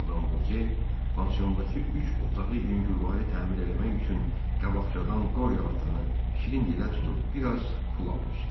Madam Voke pansiondakı üç otağı yüngülvari təmir eləmək üçün qabaqcadan Qoryo atanı şirin dilə tutub biraz pul almışdı.